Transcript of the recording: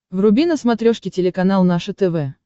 вруби на смотрешке телеканал наше тв